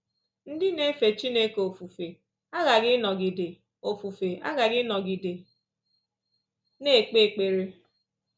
Ndị na-efe Chineke ofufe aghaghị ịnọgide ofufe aghaghị ịnọgide na-ekpe ekpere